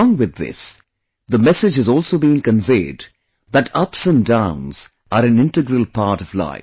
Along with this, the message has also been conveyed that ups and downs are an integral part of life